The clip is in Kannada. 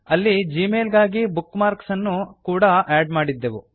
ಅಲ್ಲಿ ಜಿಮೇಲ್ ಗಾಗಿ ಬುಕ್ ಮಾರ್ಕ್ ಅನ್ನು ಕೂಡಾ ಆಡ್ ಮಾಡಿದ್ದೆವು